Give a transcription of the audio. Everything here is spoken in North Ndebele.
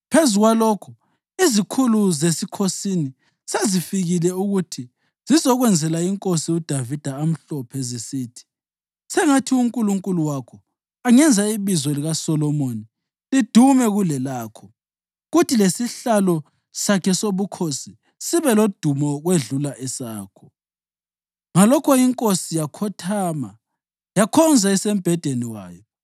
Phezu kwalokho izikhulu zesikhosini sezifikile ukuthi zizokwenzela iNkosi uDavida amhlophe zisithi, ‘Sengathi uNkulunkulu wakho angenza ibizo likaSolomoni lidume kulelakho kuthi lesihlalo sakhe sobukhosi sibe lodumo ukwedlula esakho!’ Ngalokho inkosi yakhothama yakhonza isembhedeni wayo